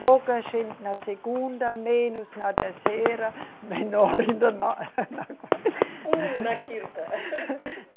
Pouca gente na segunda, menos na terceira, menor ainda na, na. Na quinta.